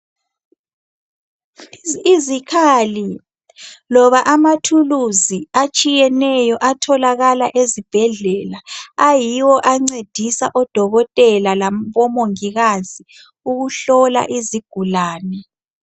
Izikhali loba amathuluzi atshiyeneyo atholakala ezibhedlela ayiwo ancedisa odokotela labo mongikazi ukuhlola izigulane.